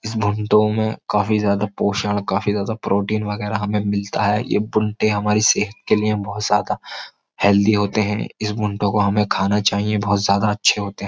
इस बुंटों में काफी ज्यादा पोषण काफी ज्यादा प्रोटीन वगैरह हमें मिलता है ये बुंटे हमारी सेहत के लिए बहुत ज्यादा हेल्दी होते हैं इस बुंटों को हमें खाना चाहिए बहुत ज्यादा अच्छे होते हैं।